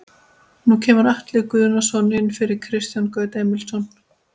Nú kemur Atli Guðnason inn fyrir Kristján Gauta Emilsson.